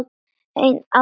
Ein ást að eilífu.